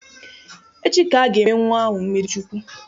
Echi ka a ga-eme nnwa ahụ mmiri Chukwu.